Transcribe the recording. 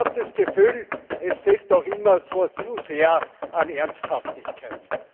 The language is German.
Ich habe das Gefühl, es fehlt auch immer zu sehr an Ernsthaftigkeit.